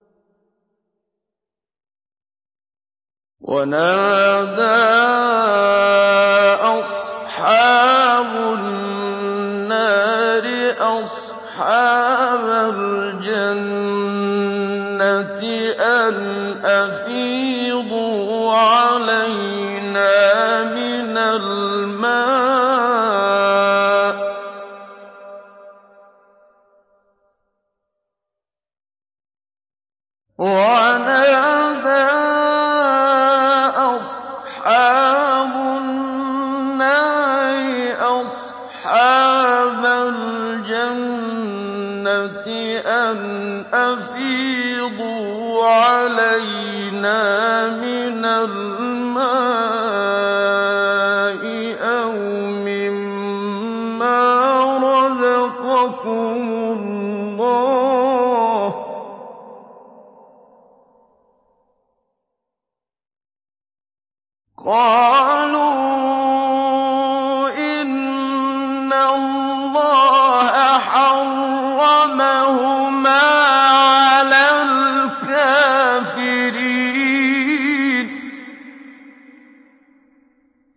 وَنَادَىٰ أَصْحَابُ النَّارِ أَصْحَابَ الْجَنَّةِ أَنْ أَفِيضُوا عَلَيْنَا مِنَ الْمَاءِ أَوْ مِمَّا رَزَقَكُمُ اللَّهُ ۚ قَالُوا إِنَّ اللَّهَ حَرَّمَهُمَا عَلَى الْكَافِرِينَ